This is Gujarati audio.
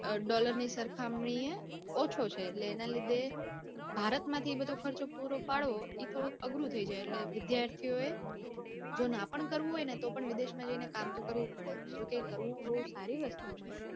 અઅઅ dollar ની સરખામણી એ ઓછો છે એટલે એના લીધે ભારતમાંથી એ બધો ખર્ચો પૂરો પડવો એ થોડું અઘરું થઇ જાય એટલે વિદ્યાર્થીઓએ